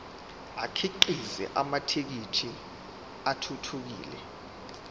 akhiqize amathekisthi athuthukile